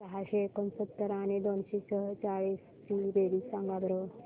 सहाशे एकोणसत्तर आणि दोनशे सेहचाळीस ची बेरीज सांगा बरं